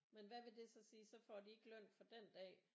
Men hvad vil det så sige så får de ikke løn for den dag